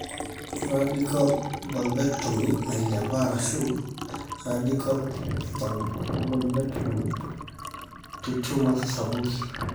radical vulvectomy nailepa ashu radical vulvectomy to tumours sapuki,